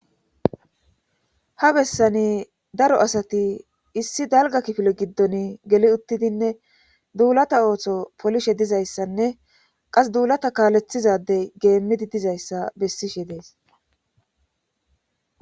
Ha bessani daro asati issi dalga kifilo giddon geli uttidinne duulata ooththo polishe dizayssanne qas duulata kaaleththizadey geemmidi dizayssa bessishe dees.